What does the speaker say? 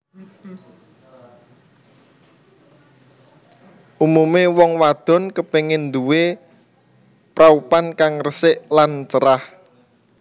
Umumé wong wadon kepengin nduwé praupan kang resik lan cerah